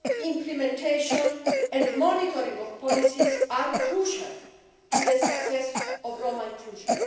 implementation and monitoring of policies are crucial to the success of Roma inclusion.